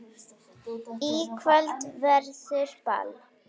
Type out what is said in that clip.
Í kvöld verður ball.